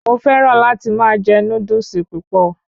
Mo fẹràn láti máa jẹ Núdúsì púpọ̀